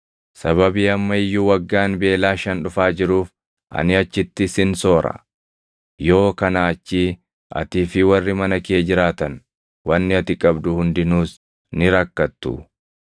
Sababii amma iyyuu waggaan beelaa shan dhufaa jiruuf ani achitti sin soora; yoo kanaa achii atii fi warri mana kee jiraatan, wanni ati qabdu hundinuus ni rakkattu.’